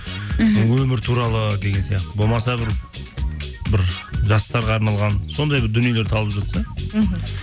мхм өмір туралы деген сияқты болмаса бір жастарға арналған сондай бір дүниелер табылып жатса мхм